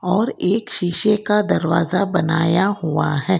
और एक शीशे का दरवाजा बनाया हुआ हैं।